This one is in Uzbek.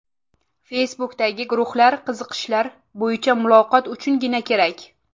Facebook’dagi guruhlar qiziqishlar bo‘yicha muloqot uchungina kerak.